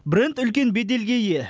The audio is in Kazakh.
бренд үлкен беделге ие